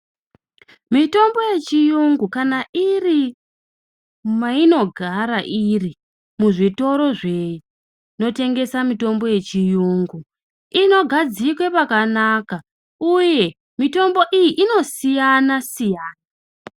Mitombo yechirungu kana iri mainogara iri muzvitoro zvinotengeswa mitombo yechirungu inogadzikwa pakanaka uye mitombo iyi inosiyana siyana.